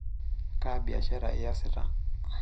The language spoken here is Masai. Kaa biashara iyasita?